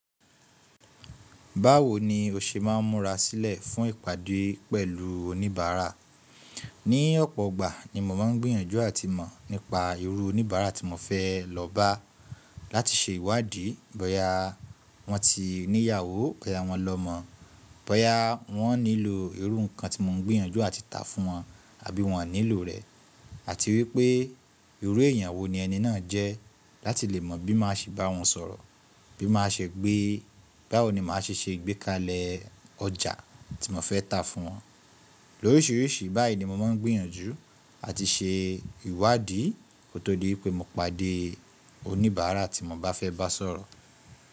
Báwo ni o ṣe máa ń múra sílẹ̀ fún ìpàdé pẹ̀lú oníbàárà? Ní ọ̀pọ̀ ọgbà ni mo máa ń gbìyànjú àti mọ̀ nípa irú oníbàárà tí mo fẹ́ lọ bá láti ṣe ìwádìí bóyá wọ́n ti níyàwó, bóyá wọ́n lọmọ, bóyá wọ́n nílò irú nǹkan tí mo ń gbìyànjú àti tà fún wọn àbí wọ́n ò nílò rẹ̀ àti wípé irú èèyàn wo ni ẹni náà jẹ́ láti lè mọ̀ bí màá ṣe bá wọn sọ̀rọ̀, báwo ni màá ṣe ṣe ìgbékalẹ̀ ọjà tí mo fẹ́ tà fún wọn. Lóríṣiríṣi báyìí ni mo máa ń gbìyànjú àti ṣe ìwádìí kó tó di pé mo pàdé oníbàárà tí mo bá fẹ́ bá sọ̀rọ̀.